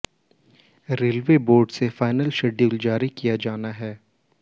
railway board से final schedule जारी किया जाना है